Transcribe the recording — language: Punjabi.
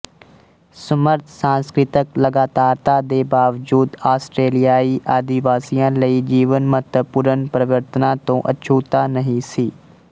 ਸਮਰੱਥ ਸਾਂਸਕ੍ਰਿਤਕ ਲਗਾਤਾਰਤਾ ਦੇ ਬਾਵਜੂਦ ਆਸਟਰੇਲੀਆਈ ਆਦਿਵਾਸੀਆਂ ਲਈ ਜੀਵਨ ਮਹੱਤਵਪੂਰਨ ਪਰਿਵਰਤਨਾਂ ਤੋਂ ਅਛੂਤਾ ਨਹੀਂ ਸੀ